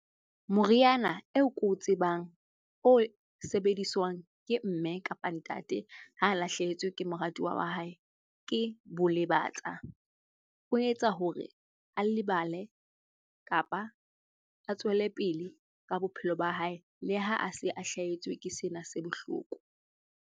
Moriana eo ko o tsebang, o sebediswang ke mme kapa ntate ha lahlehetswe ke moratuwa wa hae ke bolebatsa. O etsa hore a lebale kapa a tswelepele ka bophelo ba hae le ha a se a hlahetswe ke sena se bohloko.